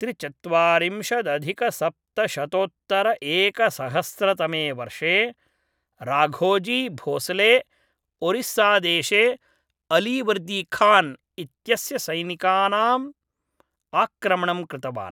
त्रिचत्वारिंशदधिकसप्तशतोत्तरएकसहस्रतमे वर्षे राघोजी भोसले ओरिस्सादेशे अलीवर्दीखान् इत्यस्य सैनिकानाम् आक्रमणं कृतवान्।